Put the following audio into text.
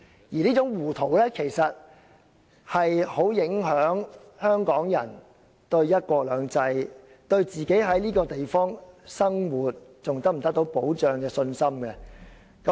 而這種糊塗，其實很影響香港人對"一國兩制"、對自己在這個地方生活是否仍然得到保障的信心。